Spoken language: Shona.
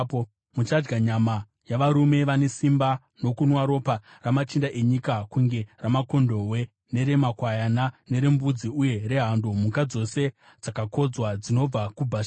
Muchadya nyama yavarume vane simba nokunwa ropa ramachinda enyika kunge ramakondobwe, neremakwayana, nerembudzi uye rehando, mhuka dzose dzakakodzwa dzinobva kuBhashani.